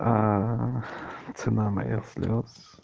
а цена моих слёз